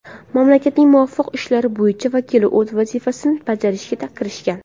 Mamlakatning muvaqqat ishlar bo‘yicha vakili o‘z vazifasini bajarishga kirishgan.